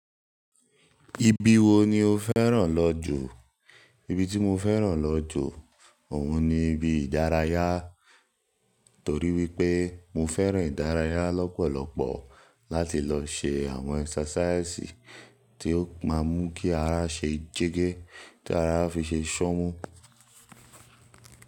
Ibi wo ni o fẹ́ràn lọ jù? Ibi tí mo fẹ́ràn lọ jù, òun ni ibi ìdárayá, torí wípé mo fẹ́ràn ìdárayá lọ́pọ̀lọpọ̀ láti lọ ṣe àwọn exercises tí ó máa mú kí ara ṣe jẹ́gẹ́, tí ara fi ṣe ṣọ́mu.